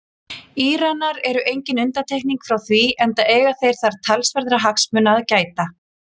Íranar eru engin undantekning frá því enda eiga þeir þar talsverðra hagsmuna að gæta.